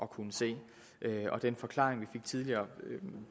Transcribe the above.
kunne se den forklaring vi tidligere